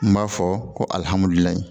N b'a fɔ ko